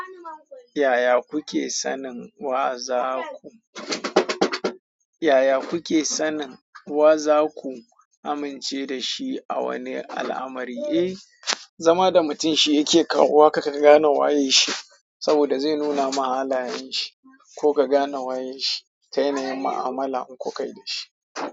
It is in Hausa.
Yaya kuke sanin wa za ku amince da shi a wani al'amari? Eh zama da mutum shi yake kawo haka ka gane wane shi ko ka gane waye shi, ta yanayin ma'amala in ku kai da shi.